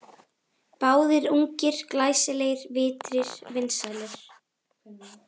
Báðir ungir, glæsilegir, vitrir, vinsælir.